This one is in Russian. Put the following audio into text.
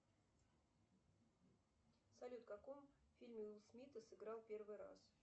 салют в каком фильме уилл смит сыграл первый раз